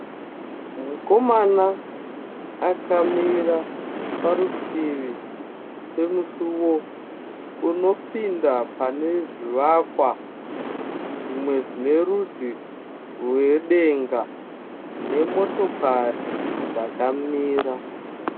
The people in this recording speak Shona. Mukomana akamira parutivi pemusuwo unopinda pane zvivakwa zvimwe zvine rudzi rwedenga nemotokari dzakamira.